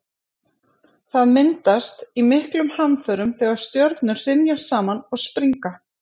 það myndast í miklum hamförum þegar stjörnur hrynja saman og springa